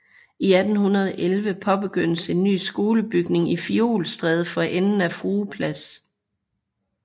I 1811 påbegyndtes en ny skolebygning i Fiolstræde for enden af Frue Plads